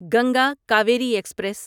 Ganga Kaveri express